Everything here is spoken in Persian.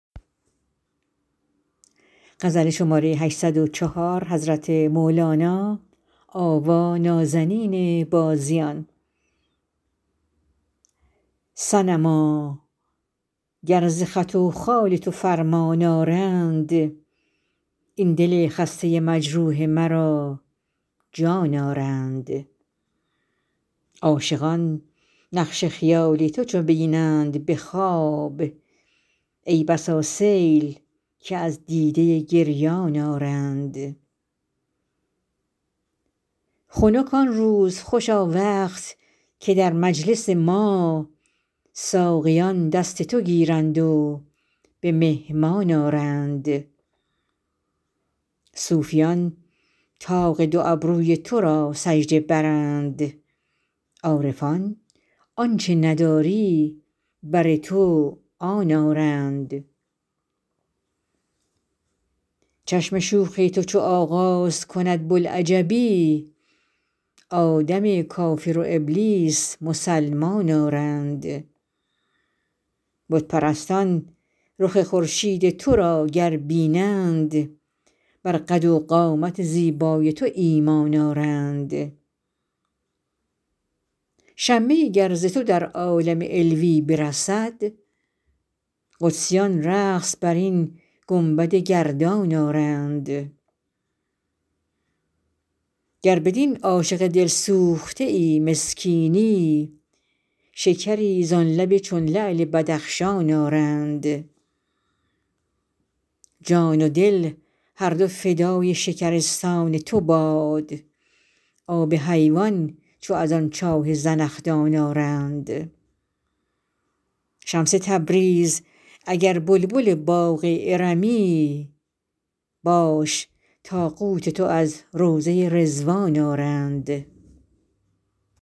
صنما گر ز خط و خال تو فرمان آرند این دل خسته مجروح مرا جان آرند عاشقان نقش خیال تو چو بینند به خواب ای بسا سیل که از دیده گریان آرند خنک آن روز خوشا وقت که در مجلس ما ساقیان دست تو گیرند و به مهمان آرند صوفیان طاق دو ابروی تو را سجده برند عارفان آنچ نداری بر تو آن آرند چشم شوخ تو چو آغاز کند بوالعجبی آدم کافر و ابلیس مسلمان آرند بت پرستان رخ خورشید تو را گر بینند بر قد و قامت زیبای تو ایمان آرند شمه ای گر ز تو در عالم علوی برسد قدسیان رقص بر این گنبد گردان آرند گر بدین عاشق دلسوخته مسکینی شکری زان لب چون لعل بدخشان آرند جان و دل هر دو فدای شکرستان تو باد آب حیوان چو از آن چاه زنخدان آرند شمس تبریز اگر بلبل باغ ارمی باش تا قوت تو از روضه رضوان آرند